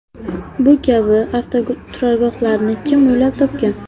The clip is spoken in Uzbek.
Bu kabi avtoturargohlarni kim o‘ylab topgan?